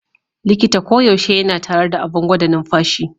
Likita koyaushe yana tare da abin gwada numfashi.